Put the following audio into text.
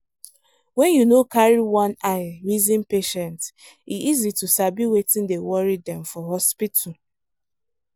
when you no carry one eye reason patient e easy to sabi wetin dey worry dem for hospital